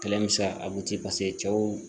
Kɛlɛ bɛ se a cɛw